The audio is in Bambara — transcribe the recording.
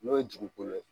N'o ye dugukolo ye